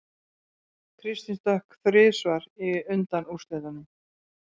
Kristinn stökk þrisvar í undanúrslitunum